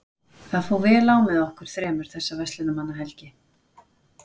Það fór vel á með okkur þremur þessa verslunarmannahelgi.